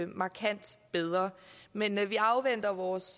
markant bedre men vi afventer vores